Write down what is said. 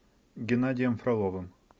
геннадием фроловым